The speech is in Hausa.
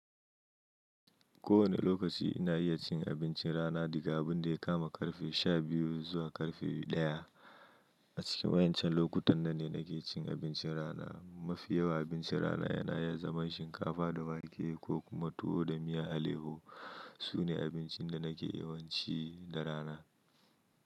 Kowane lokaci ina iya cin abincin rana, daga abun da ya kama ƙarfe sha biyu zuwa ƙarfe ɗaya. A cikin wa'incan lokutan nan ne, nake cin abincin rana. Mafi yawa abincin rana, yana iya zaman shinkafa da wake, ko kuma tuwo da miya aleho. Su ne abincin da nake yawanci, da rana.